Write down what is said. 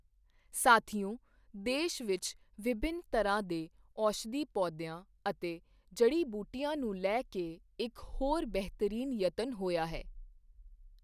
ਸਾਥੀਓ, ਦੇਸ਼ ਵਿੱਚ ਵਿਭਿੰਨ ਤਰ੍ਹਾਂ ਦੇ ਔਸ਼ਧੀ ਪੌਦਿਆਂ ਅਤੇ ਜੜੀ ਬੂਟੀਆਂ ਨੂੰ ਲੈ ਕੇ ਇੱਕ ਹੋਰ ਬਿਹਤਰੀਨ ਯਤਨ ਹੋਇਆ ਹੈ।